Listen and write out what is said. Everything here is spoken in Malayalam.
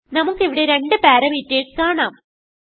നമുക്ക് ഇവിടെ രണ്ട് പാരാമീറ്റർസ് കാണാം